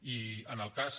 i en el cas